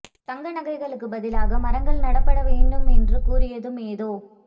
தங்க நகைகளுக்கு பதிலாக மரங்கள் நடப்பட வேண்டும் என்று கூறியதும் ஏதோ